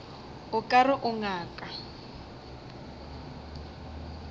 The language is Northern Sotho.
o ka re o ngaka